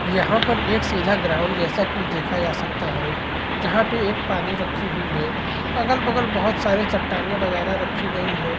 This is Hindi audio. यहाँ पर एक सीधा ग्राउंड जैसा कुछ दिखाया जा सकता है जहाँ पर एक पानी रखी हुई है अगल बगल में चट्टानें रखी गई हैं।